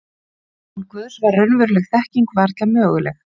Án Guðs var raunveruleg þekking varla möguleg.